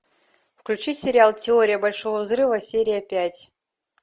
включи сериал теория большого взрыва серия пять